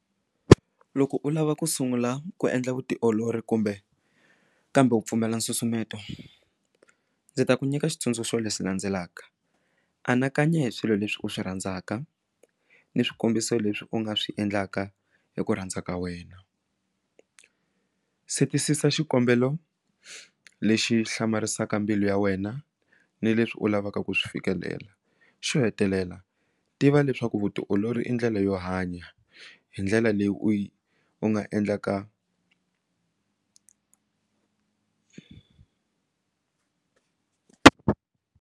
Loko u lava ku sungula ku endla vutiolori kumbe kambe u pfumela nsusumeto ndzi ta ku nyika xitsundzuxo leswi landzelaka anakanya hi swilo leswi u swi rhandzaka ni swikombiso leswi u nga swi endlaka hi ku rhandza ka wena se twisisa xikombelo lexi hlamarisaka mbilu ya wena ni leswi u lavaka ku swi fikelela xo hetelela tiva leswaku vutiolori i ndlela yo hanya hi ndlela leyi u u nga endlaka.